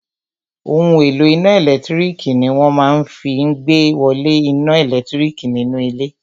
Ohun èlò iná ẹ̀lẹ́tírík ní wọ́n máa fí n ìgbéwolé iná ẹlẹtíríkì nínú ilé